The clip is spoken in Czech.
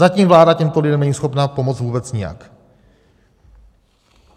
Zatím vláda těmto lidem není schopna pomoci vůbec nijak.